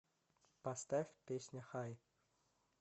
поставь песня хай